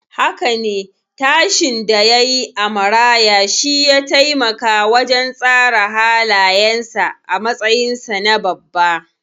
Haka ne, tashin da yayi a maraya shiya taimaka wajen tsara halayensa a matsayinsa na babba.